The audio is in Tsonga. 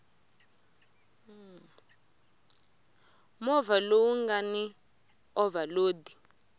movha lowu nga ni ovhalodi